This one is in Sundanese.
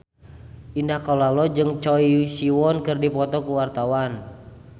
Indah Kalalo jeung Choi Siwon keur dipoto ku wartawan